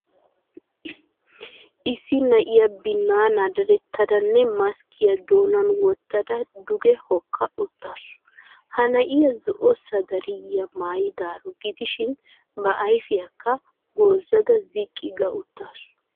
Issi na'iya binnaana dadettadanne maskkiya doonan wottada duge hokka uttaasu. Ha na'iya zo'o sadariyiya maayadaaro gidishin ba ayfiyaakka goozada ziqqi ga uttaasu.